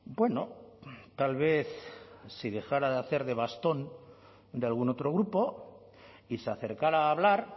bueno tal vez si dejara de hacer de bastón de algún otro grupo y se acercara a hablar